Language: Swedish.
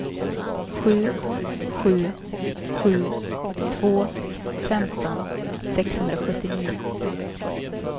sju sju sju två femton sexhundrasjuttionio